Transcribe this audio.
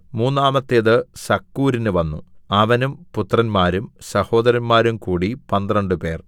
മൂന്നാമത്തേത് സക്കൂരിന് വന്നു അവനും പുത്രന്മാരും സഹോദരന്മാരും കൂടി പന്ത്രണ്ടുപേർ